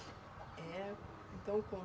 É? Então com